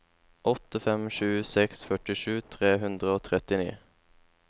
åtte fem sju seks førtisju tre hundre og trettini